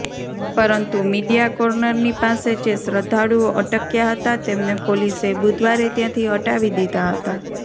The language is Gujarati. પરંતુ મીડિયા કોર્નરની પાસે જે શ્રદ્ધાળુઓ અટક્યા હતા તેમને પોલીસે બુધવારે ત્યાંથી હટાવી દીધા હતા